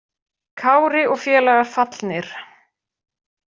Kári og félagar fallnir